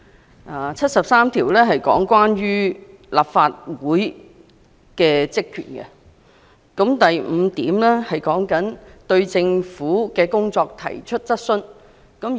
《基本法》第七十三條列明立法會的職權，該條第五項指立法會有權對政府的工作提出質詢。